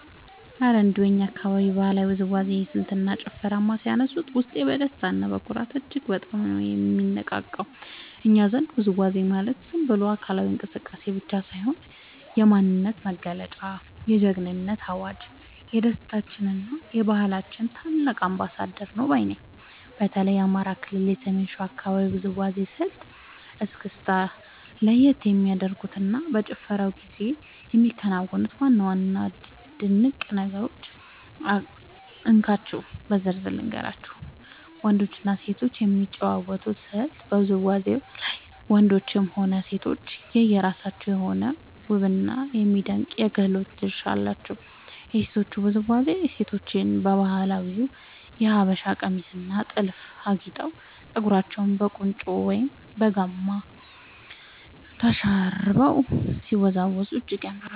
እረ እንደው የእኛን አካባቢ የባህላዊ ውዝዋዜ ስልትና ጭፈርማ ሲያነሱት፣ ውስጤ በደስታና በኩራት እጅግ በጣም ነው የሚነቃቃው! እኛ ዘንድ ውዝዋዜ ማለት ዝም ብሎ አካላዊ እንቅስቃሴ ብቻ ሳይሆን፣ የማንነታችን መገለጫ፣ የጀግንነታችን አዋጅ፣ የደስታችንና የባህላችን ታላቅ አምባሳደር ነው ባይ ነኝ። በተለይ የአማራ ክልል የሰሜን ሸዋ አካባቢን የውዝዋዜ ስልት (እስክስታ) ለየት የሚያደርጉትንና በጭፈራው ጊዜ የሚከናወኑትን ዋና ዋና ድንቅ ነገሮች እንካችሁ በዝርዝር ልንገራችሁ፦ . ወንዶችና ሴቶች የሚጫወቱበት ስልት በውዝዋዜው ላይ ወንዶችም ሆኑ ሴቶች የየራሳቸው የሆነ ውብና የሚደነቅ የክህሎት ድርሻ አላቸው። የሴቶቹ ውዝዋዜ፦ ሴቶቻችን በባህላዊው የሀበሻ ቀሚስና ጥልፍ አጊጠው፣ ፀጉራቸውን በቁንጮ ወይም በጋማ ተሸርበው ሲወዝወዙ እጅግ ያምራሉ።